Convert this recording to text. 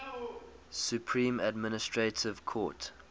supreme administrative court